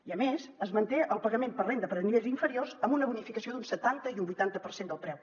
i a més es manté el pagament per renda per a nivells inferiors amb una bonificació d’un setanta i un vuitanta per cent del preu